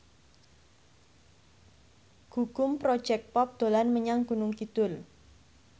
Gugum Project Pop dolan menyang Gunung Kidul